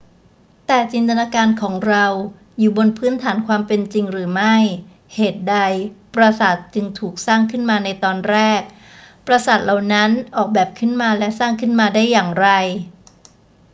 แต่จินตนาการของเราอยู่บนพื้นฐานความเป็นจริงหรือไม่ เหตุใดปราสาทจึงถูกสร้างขึ้นมาในตอนแรก ปราสาทเหล่านั้นออกแบบขึ้นมาและสร้างขึ้นมาได้อย่างไร